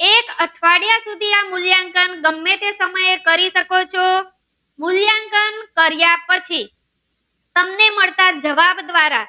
કરી શકો છે મૂલ્યાંકન કાર્ય પછી તમને માલ્ટા જવાબ દ્વારા